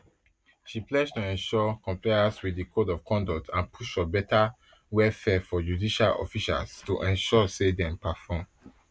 she pledge to ensure compliance wit di code of conduct and push for betta welfare for judicial officers to ensure say dem perform